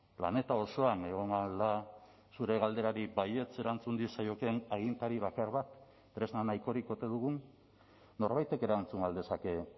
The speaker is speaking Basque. planeta osoan egon ahal da zure galderari baietz erantzun diezaiokeen agintari bakar bat tresna nahikorik ote dugun norbaitek erantzun ahal dezake